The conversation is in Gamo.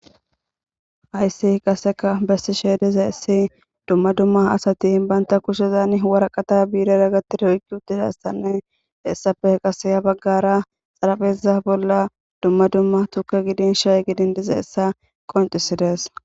hayssi qaseka bessi sheediza issi dumma dumma asati baynta kushezan waraqata biirera gatira hoykki uttidassanne hessafe qaseya baggara xarafeza bolla dumma dumma tuke gidin shay gidin diza essa qoncisides